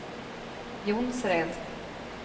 Jonsered